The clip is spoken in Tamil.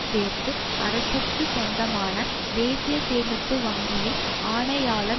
சேர்த்து அரசிற்கு சொந்தமான தேசிய சேமிப்பு வங்கியில் ஆணையாளர்